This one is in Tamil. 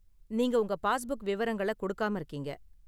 நீங்க உங்க பாஸ்புக் விவரங்கள கொடுக்காம இருக்கீங்க.